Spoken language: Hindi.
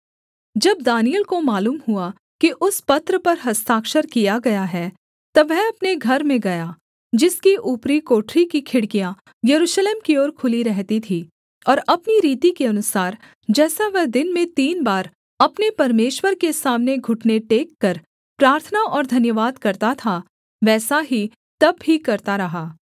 जब दानिय्येल को मालूम हुआ कि उस पत्र पर हस्ताक्षर किया गया है तब वह अपने घर में गया जिसकी ऊपरी कोठरी की खिड़कियाँ यरूशलेम की ओर खुली रहती थीं और अपनी रीति के अनुसार जैसा वह दिन में तीन बार अपने परमेश्वर के सामने घुटने टेककर प्रार्थना और धन्यवाद करता था वैसा ही तब भी करता रहा